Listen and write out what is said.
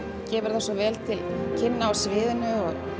gefur það svo vel til kynna á sviðinu